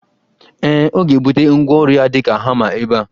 Ee, ọ ga ebute ngwaọru ya di ka hama ebe a